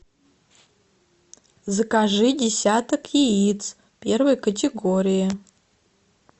закажи десяток яиц первой категории